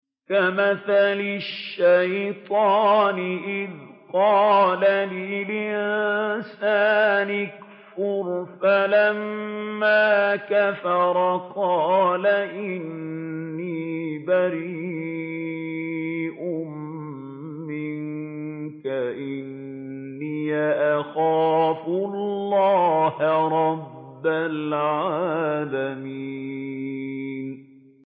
كَمَثَلِ الشَّيْطَانِ إِذْ قَالَ لِلْإِنسَانِ اكْفُرْ فَلَمَّا كَفَرَ قَالَ إِنِّي بَرِيءٌ مِّنكَ إِنِّي أَخَافُ اللَّهَ رَبَّ الْعَالَمِينَ